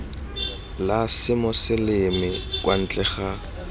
la semoseleme kwa ntle ga